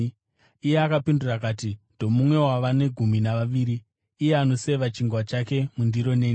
Iye akapindura akati, “Ndomumwe wavane gumi navaviri, iye anoseva chingwa chake mundiro neni.